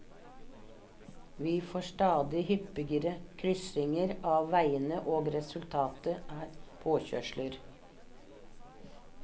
Vi får stadig hyppigere kryssinger av veiene, og resultatet er påkjørsler.